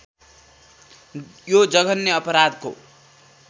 यो जघन्य अपराधको